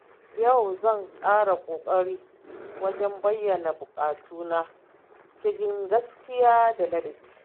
Yau zan ƙara ƙoƙari wajen bayyana buƙatuna cikin gaskiya da ladabi.